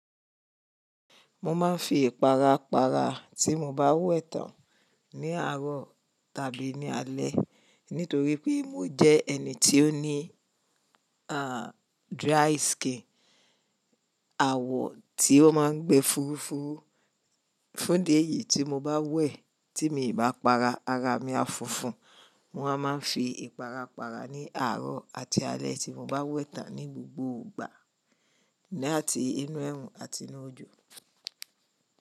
Mo máa ń fi ìpara para tí mo bá wẹ̀ tán ní àárọ̀ tàbí ní alẹ́. Nítorí pé mo jẹ́ ẹni tí ó ní, ah, dry skin, àwọ̀ tí ó máa ń gbẹ fúrufúru. Fún idi eyí tí mo bá wẹ̀ tí mi bá para, ara mi á fúnfún. Mo wa máa ń fi ìpara para ní àárọ̀ àti alẹ́ tí mo bá wẹ̀ tán ní gbogbo ìgbà, ni ati inú ẹrù àti inú ojò.